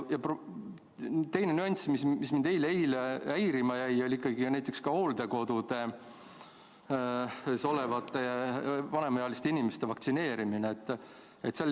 Ja teine nüanss, mis mind eile häirima jäi, oli seotud hooldekodudes olevate vanemaealiste inimeste vaktsineerimisega.